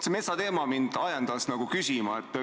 See metsateema ajendas mind küsima.